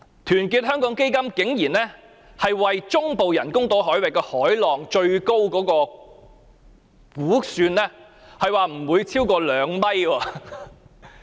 團結香港基金竟然估算，中部人工島海域海浪最高不會超過2米。